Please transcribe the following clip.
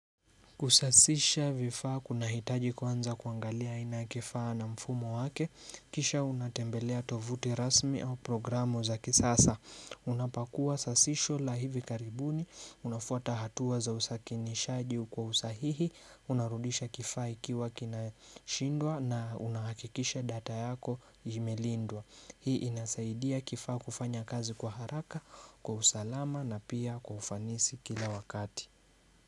Kusasisha vifaa kunahitaji kwanza kuangalia aina ya kifaa na mfumo wake kisha unatembelea tovuti rasmi au programu za kisasa unapakua sasisho la hivi karibuni unafuata hatua za usakinishaji kwa usahihi unarudisha kifaa ikiwa kinashindwa na unahakikisha data yako imelindwa. Hii inasaidia kifaa kufanya kazi kwa haraka kwa usalama na pia kwa ufanisi kila wakati.